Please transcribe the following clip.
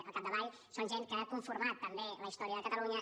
al capdavall són gent que ha conformat també la història de catalunya